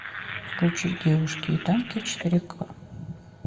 включи девушки и танки четыре ка